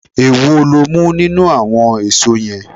Èwo lo mú nínú àwon èso yen?